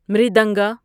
مریدنگا মৃদঙ্গ